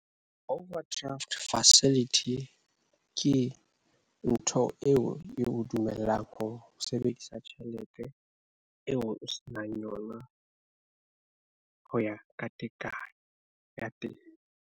Overdraft facility ke ntho eo eo dumellang ho sebedisa tjhelete eo o senang yona ho ya ka tekanyo.